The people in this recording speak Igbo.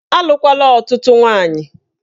Alụkwala ọtụtụ nwaanyị!